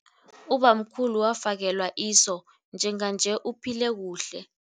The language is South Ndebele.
Ubamkhulu wafakelwa iso njenganje uphile kuhle.